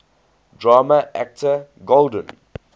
drama actor golden